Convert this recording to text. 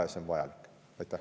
Ja see on vajalik.